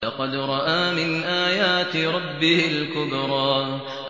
لَقَدْ رَأَىٰ مِنْ آيَاتِ رَبِّهِ الْكُبْرَىٰ